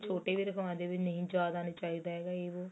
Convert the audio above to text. ਛੋਟੇ ਵੀ ਰਾਖਵਾਂਦੇ ਏ ਵੀ ਨਹੀਂ ਜਿਆਦਾ ਨਹੀਂ ਚਾਹੀਦਾ ਹੈਗਾ ਇਹ